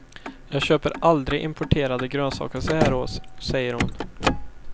Jag köper aldrig importerade grönsaker så här års, säger hon.